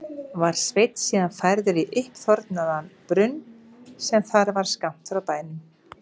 Var Sveinn síðan færður í uppþornaðan brunn sem þar var skammt frá bænum.